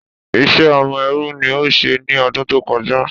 Ìṣe ọmọ ẹrú ni o ṣe ní ọdún tó kọjá.